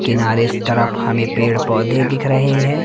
किनारे इस तरफ हमें पेड़ पौधे दिख रहे हैं।